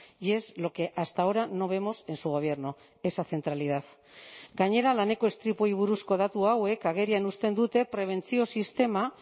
y es lo que hasta ahora no vemos en su gobierno esa centralidad gainera laneko istripuei buruzko datu hauek agerian uzten dute prebentzio sistema